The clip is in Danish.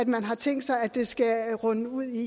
man har tænkt sig at det skal munde ud i